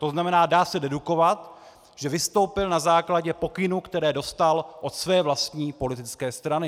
To znamená, dá se dedukovat, že vystoupil na základě pokynů, které dostal od své vlastní politické strany.